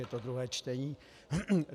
Je to druhé čtení.